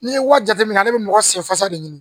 N'i ye wari jateminɛ ale bɛ mɔgɔ senfasa de ɲini